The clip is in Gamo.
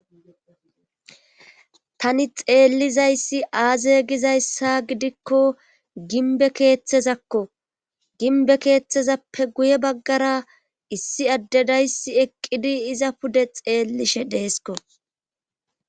Tani xeellizayssi aaze gizayssa gidikko ginbe keeththezakko ginbe keeththezappe guye baggara issi addedayssi eqqidi iza pude xeellishe deesko.